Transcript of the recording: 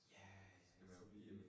Ja, altså det